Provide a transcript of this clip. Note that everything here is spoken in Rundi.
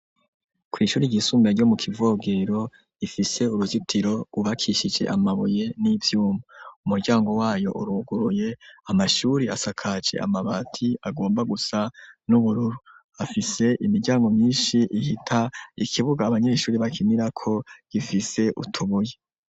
kw'ishuri ryisumbuye, ryo mu Kivogero, rifise uruzitiro rwubakishije amabuye, n'ivyuma; umuryango wayo uruguruye, amashuri, asakaje amabati agomba gusa n'ubururu; afise imiryango myinshi, ihita; ikibuga abanyeshuri bakinirako, gifise utubuye.